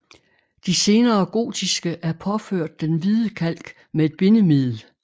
De senere gotiske er påført den hvide kalk med et bindemiddel